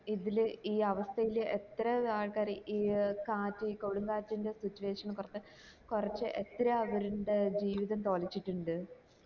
ഇതില് ഈ അവസ്ഥേല് എത്ര ആൾക്കാര് ഈ കാറ്റ് കൊടുംകാറ്റ്ൻറെ situation കോരത്തെ കൊറച്ച് എത്രയാ അവര്ൻറെ ജീവിതം തോലച്ചിട്ട് ഇണ്ട്